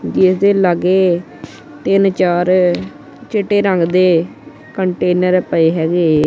ਦੇ ਲਾਗੇ ਤਿੰਨ ਚਾਰ ਚਿੱਟੇ ਰੰਗ ਦੇ ਕੰਟੇਨਰ ਪਏ ਹੈਗੇ।